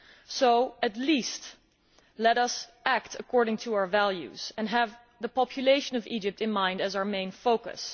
So at least let us act according to our values and have the population of Egypt in mind as our main focus.